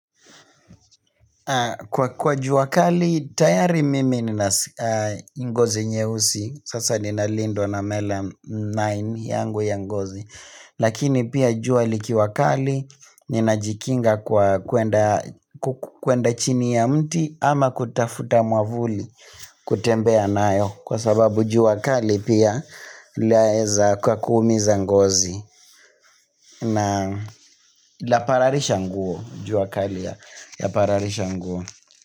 Kwa jua kali, tayari mimi nina ngozi nyeusi, sasa ninalindwa na melanin yangu ya ngozi. Lakini pia jua likiwa kali, ninajikinga kwa kuenda chini ya mti ama kutafuta mwavuli kutembea nayo. Kwa sababu jua kali pia laeza kakuumiza ngozi na lapararisha nguo jua kali yapararisha nguo.